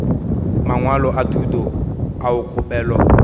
mangwalo a thuto ao kgopelo